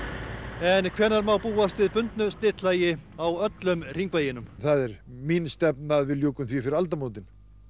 en hvenær má búast við bundnu slitlagi á öllum Hringveginum það er mín stefna að við ljúkum því fyrir aldamótin